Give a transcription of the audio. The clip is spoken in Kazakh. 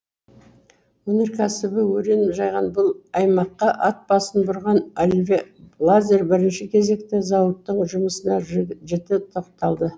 өнеркәсібі өрен жайған бұл аймаққа ат басын бұрған оливье лазар бірінші кезекте зауыттың жұмысына жіті тоқталды